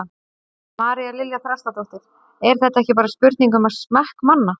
María Lilja Þrastardóttir: Er þetta ekki bara spurning um smekk manna?